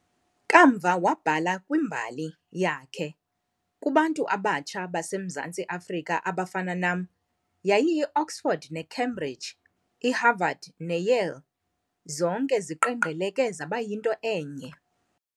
Kamva wabhala kwimbali yakhe, "Kubantu abatsha baseMzantsi Afrika abafana nam, yayiyiOxford neCambridge, iHarvard neYale, zonke ziqengqeleke zaba yinto enye."